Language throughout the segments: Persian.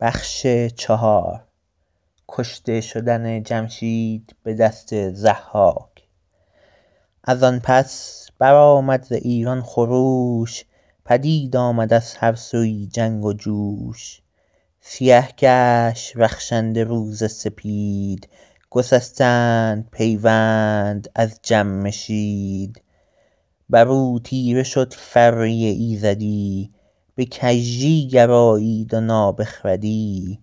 از آن پس برآمد ز ایران خروش پدید آمد از هر سویی جنگ و جوش سیه گشت رخشنده روز سپید گسستند پیوند از جمشید بر او تیره شد فره ایزدی به کژی گرایید و نابخردی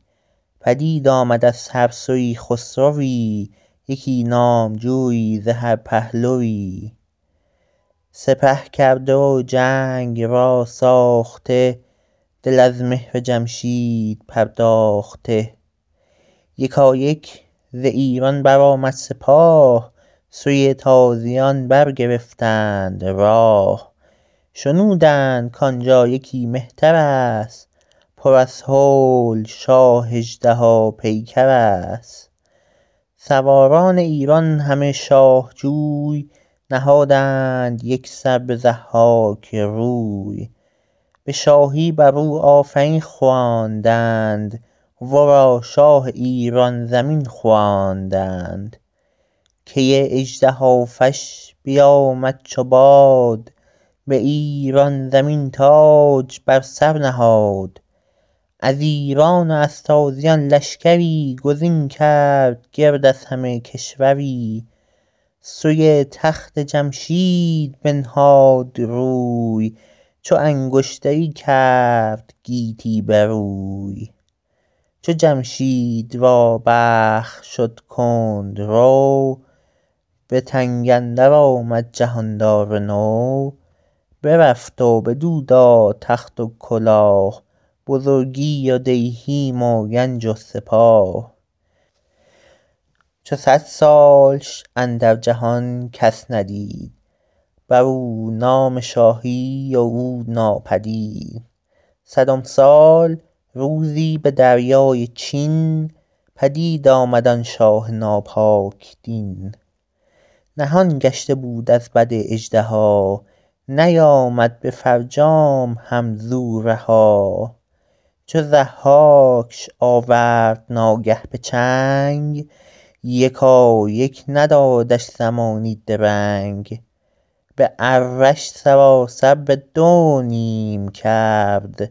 پدید آمد از هر سویی خسروی یکی نامجویی ز هر پهلوی سپه کرده و جنگ را ساخته دل از مهر جمشید پرداخته یکایک ز ایران برآمد سپاه سوی تازیان برگرفتند راه شنودند کان جا یکی مهتر است پر از هول شاه اژدها پیکر است سواران ایران همه شاه جوی نهادند یک سر به ضحاک روی به شاهی بر او آفرین خواندند ورا شاه ایران زمین خواندند کی اژدهافش بیامد چو باد به ایران زمین تاج بر سر نهاد از ایران و از تازیان لشکری گزین کرد گرد از همه کشوری سوی تخت جمشید بنهاد روی چو انگشتری کرد گیتی بروی چو جمشید را بخت شد کندرو به تنگ اندر آمد جهاندار نو برفت و بدو داد تخت و کلاه بزرگی و دیهیم و گنج و سپاه چو صد سالش اندر جهان کس ندید بر او نام شاهی و او ناپدید صدم سال روزی به دریای چین پدید آمد آن شاه ناپاک دین نهان گشته بود از بد اژدها نیامد به فرجام هم ز او رها چو ضحاکش آورد ناگه به چنگ یکایک ندادش زمانی درنگ به اره ش سراسر به دو نیم کرد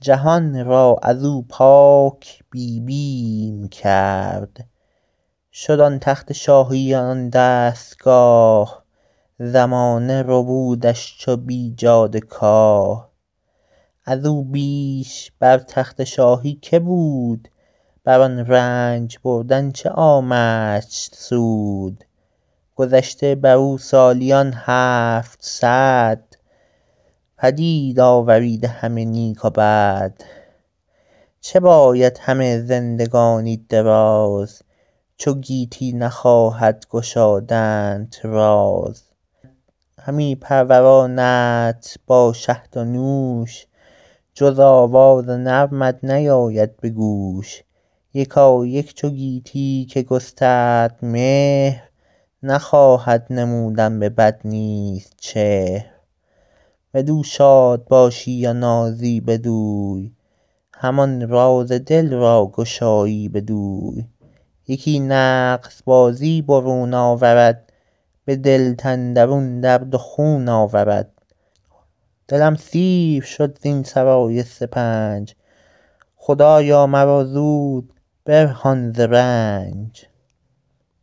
جهان را از او پاک بی بیم کرد شد آن تخت شاهی و آن دستگاه زمانه ربودش چو بیجاده کاه از او بیش بر تخت شاهی که بود بر آن رنج بردن چه آمدش سود گذشته بر او سالیان هفتصد پدید آوریده همه نیک و بد چه باید همه زندگانی دراز چو گیتی نخواهد گشادنت راز همی پروراندت با شهد و نوش جز آواز نرمت نیاید به گوش یکایک چو گویی که گسترد مهر نخواهد نمودن به بد نیز چهر بدو شاد باشی و نازی بدوی همان راز دل را گشایی بدوی یکی نغز بازی برون آورد به دلت اندرون درد و خون آورد دلم سیر شد زین سرای سپنج خدایا مرا زود برهان ز رنج